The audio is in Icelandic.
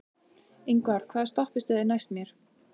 Ingvar, hvaða stoppistöð er næst mér?